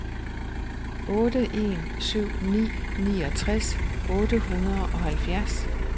otte en syv ni niogtres otte hundrede og halvfjerds